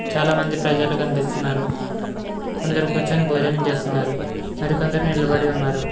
చాలామంది ప్రజలు కనిపిస్తున్నారు కొందరు కూర్చొని భోజనం చేస్తున్నారు మరికొందరు నిలబడి ఉన్నారు.